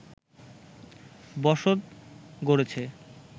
বসত গড়েছে